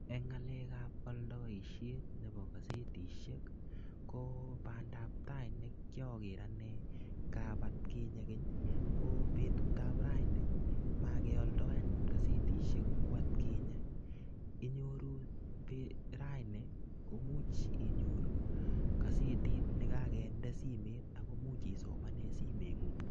Eng ngalekab oldoisiet nebo kasetisiek kobandab tai nekiager anne ngab atkinye keny ko betut ab raini mokeoldo anyun kasetisiek ku atkinye. Inyoru raini komuch inyoru kasetit ne kakinde simmet ago much isomane simengung.